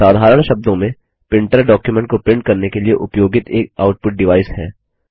साधारण शब्दों में प्रिंटरडॉक्युमेंट को प्रिंट करने के लिए उपयोगित एक आउटपुट डिवाइस है